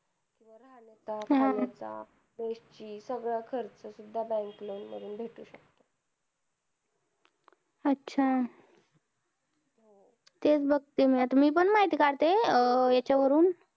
पानायच fess ची सगळं खर्च bank loan मधून भेटू शकतो अच्छा तेच बघते मी पण माहिती काढते हेच्यावरून